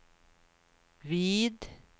vid